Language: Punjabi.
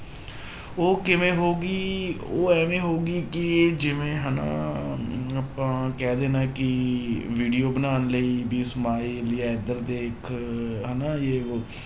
ਉਹ ਕਿਵੇਂ ਹੋ ਗਈ ਉਹ ਇਵੇਂ ਹੋ ਗਈ ਕਿ ਜਿਵੇਂ ਹਨਾ ਆਪਾਂ ਕਹਿ ਦੇਣਾ ਕਿ video ਬਣਾਉਣ ਲਈ ਵੀ smile ਜਾਂ ਇੱਧਰ ਦੇ ਇੱਕ ਹਨਾ ਜੇ ਵੋਹ